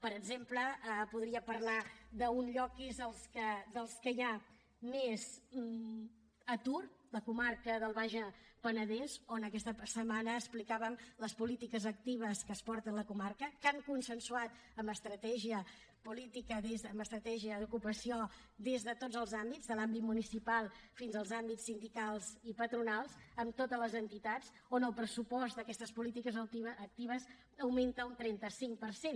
per exemple podria parlar d’un lloc que és dels que hi ha més atur la comarca del baix penedès on aquesta setmana explicàvem les polítiques actives que es porten a la comarca que han consensuat amb estratègia política amb estratègia d’ocupació des de tots els àmbits de l’àmbit municipal fins als àmbits sindicals i patronals amb totes les entitats on el pressupost d’aquestes polítiques actives augmenta un trenta cinc per cent